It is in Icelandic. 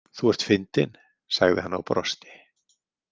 Þú ert fyndin, sagði hann og brosti.